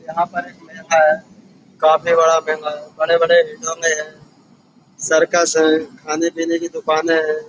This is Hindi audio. यहाँ पर एक मेला है। काफी बड़ा मेला है। बड़े-बड़े सर्कस हैं खाने-पीने की दुकाने हैं।